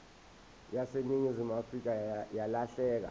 yaseningizimu afrika yalahleka